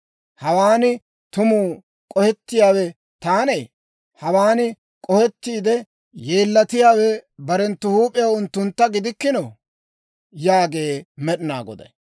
Hawaan tumu k'ohettiyawe taanee? Hawaan k'ohettiide yeellatiyaawe barenttu huup'iyaw unttuntta gidikkinoo?» yaagee Med'inaa Goday.